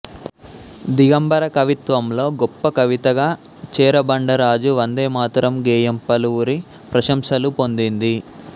దిగంబర కవిత్వంలో గొప్ప కవితగా చెరబండరాజు వందేమాతరం గేయం పలువురి ప్రశంసలు పొందింది